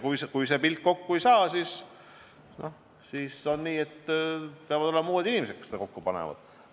Kui see pilt kokku ei saa, siis on nii, et peavad tulema uued inimesed, kes selle kokku panevad.